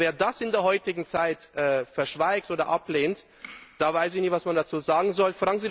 Wer das in der heutigen Zeit verschweigt oder ablehnt, da weiß ich nicht, was man dazu sagen soll.